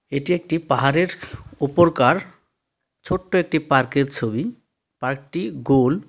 এটি একটি পাহাড়ের উপর কার ছোট্ট একটি পার্কের ছবি পার্কটি গোল.